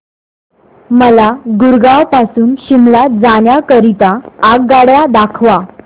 मला गुरगाव पासून शिमला जाण्या करीता आगगाड्या दाखवा